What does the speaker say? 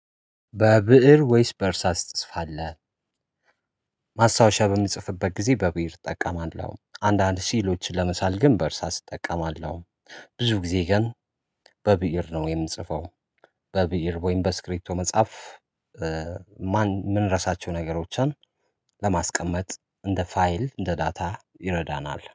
በብእር ወይስ በርሳስ ትጽፋለህ? ማስታወሻ በምጽፍበት ጊዜ በብእር እጠቀማለሁ አንዳንድ ስዕሎች ለመሳል ግን በእርሳስ እጠቀማለሁ። ብዙ ጊዜ ግን በብእር ነው የምጽፈው። በብይር ወይም በስክሪቶ መጽሐፍ። ምን ረሳቸው ነገሮችን። ለማስቀመጥ እንደ ፋይል እንደ ዳታ ይረዳናል